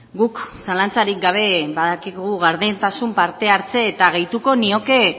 guk zalantzarik gabe badakigu gardentasun parte hartze eta gehituko nioke